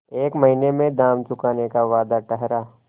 एक महीने में दाम चुकाने का वादा ठहरा